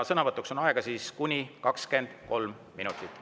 Sõnavõtuks on aega kuni 23 minutit.